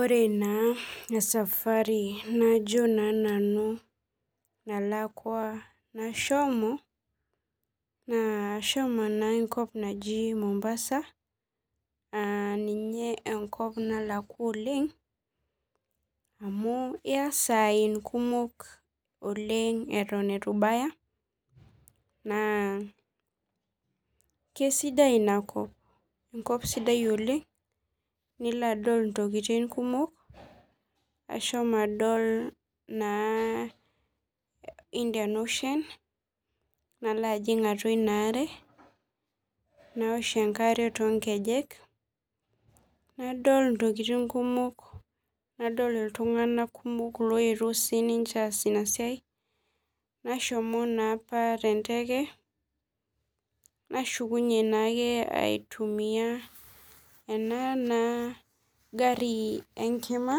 Ore naa esafari nalakwa najo naa nanu ashomo ,ashomo enkop naji Mombasa aaninye enkop nalakwa oleng ,amu iya saai kumok oleng eton eitu ibaya naa keisidai ina kop ,enkop sidai oleng, nilo adol intokiting kumok, ashomo naa adol Indian ocean nalo ajing atua ina are ,naosh enkare toonkejenk nadol intokiting kumok, nadol iltunganak kumok oyetuo siininche aas ina siai .nashomo naa apa tenteke nashukunye naa aitumiyia ena gari enkima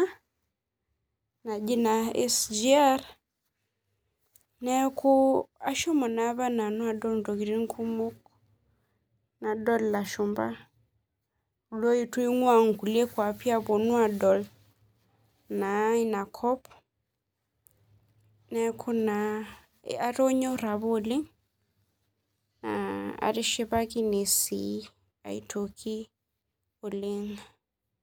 naji SGR neeku ashomo na apa nanu adol ntokiting kumok nadol ilashumba oyetua naa eingua kulie kwapi adol ina kop neeku naa atonyora apa oleng neeku sii atishipakine apa oelng.